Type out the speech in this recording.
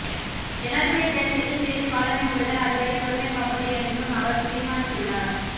ஜனாதிபதித் தேர்தலுக்குச் சிறிது காலமே உள்ளதால் அதுவரை பொறுமை காப்பது என்றும் அவர் தீர்மானித்துள்ளார்